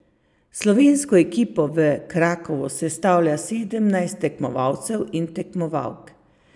Slovensko ekipo v Krakovu sestavlja sedemnajst tekmovalcev in tekmovalk.